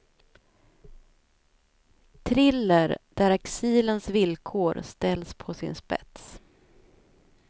Thriller där exilens villkor ställs på sin spets.